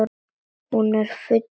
Hún er í fullu fjöri.